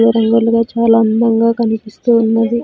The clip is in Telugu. ఇలా రంగు రంగులు గా చాలా అందంగా కనిపిస్తూ ఉన్నది.